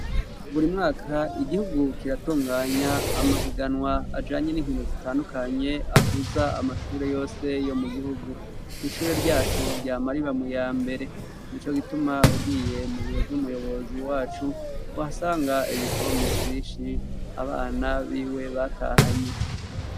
Buri mwaka igihugu kiratunganya amahiganwa ajanye n'inkino zitandukanye ahuza amashure yose yo mu gihugu, ishure ryacu ryama riba muyambere nico gituma ugiye mu biro vy'umuyobozi wacu uhasanga ibikombe vyishi abana biwe batahanye.